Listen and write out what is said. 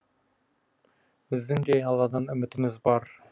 біздің де алладан үмітіміз бар